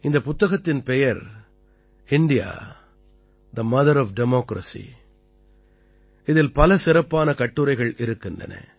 இந்தப் புத்தகத்தின் பெயர் India the mother of democracy இதில் பல சிறப்பான கட்டுரைகள் இருக்கின்றன